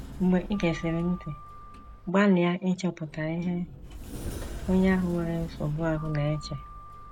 Mgbe i gesịrị ntị, gbalịa ịchọpụta ihe onye ahụ nwere nsogbu ahụ na - eche.